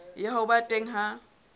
ya ho ba teng ha